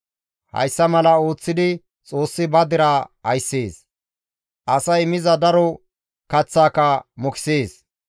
Hayssa mala ooththidi Xoossi ba deraa ayssees; asay miza daro kaththaaka mokisees.